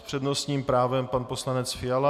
S přednostním právem pan poslanec Fiala.